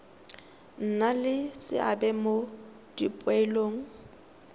nna le seabe mo dipoelong